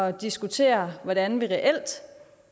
at diskutere hvordan vi reelt